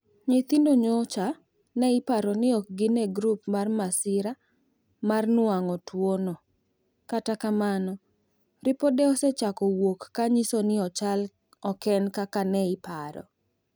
Nyithindo nyocha ne iparo ni ok gin e grup mar masira mar nuang'o tuwo no. kata kamano ripode osechako wuok ka nyiso ni chal oken kaka ne iparo.